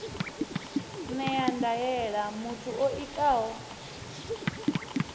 ṅea ndaela muthu o itaho